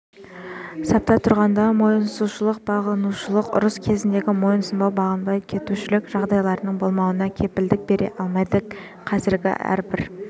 сапта тұрғанда мойынсұнушылық бағынушылық ұрыс кезіндегі мойынсұнбай бағынбай кетушілік жағдайларының болмауына кепілдік бере алмайды кедергі әрбір